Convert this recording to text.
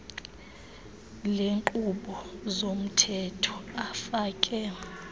leenkqubo zomthetho afake